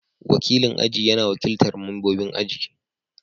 Wakilin aji yana wakiltar membobin aji.